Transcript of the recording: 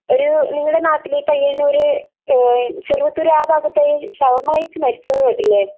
ഒരു നിങ്ങളുടെ നാട്ടിൽ, പയ്യന്നൂർ, ചെറുവത്തൂർ ആ ഭാഗത്ത് ഷവർമ്മ കഴിച്ച് മരിച്ചു എന്ന് കേട്ടില്ലേ?